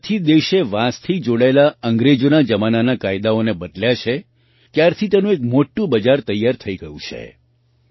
જ્યારથી દેશે વાંસથી જોડાયેલા અંગ્રેજોના જમાનાના કાયદાઓને બદલ્યા છે ત્યારથી તેનું એક મોટું બજાર તૈયાર થઈ ગયું છે